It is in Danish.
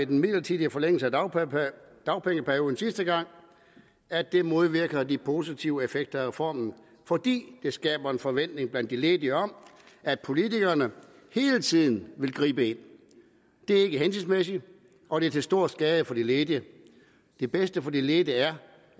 den midlertidige forlængelse af dagpengeperioden sidste gang modvirker de positive effekter af reformen fordi det skaber en forventning blandt de ledige om at politikerne hele tiden vil gribe ind det er ikke hensigtsmæssigt og det er til stor skade for de ledige det bedste for de ledige er